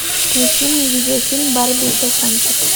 включи мне видеофильм барби и щелкунчик